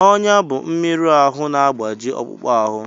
Ọnya bụ mmerụ ahụ na-agbaji akpụkpọ ahụ